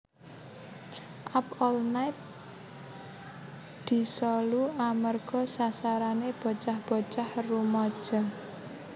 Up All Night disolu amerga sasarane bocah bocah rumaja